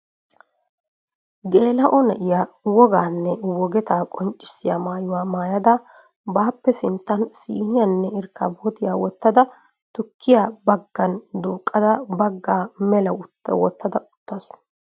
Geela''o na'iyaa wogaanne wogeta qonccissiyaa maayuwa maayada baappe sinttan siiniyanne irkkabootiyaa wottada tukkiyaa baggan duuqqada baggaa mela wottada uttaasu .